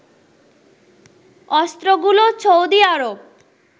অস্ত্রগুলো Saudi Arab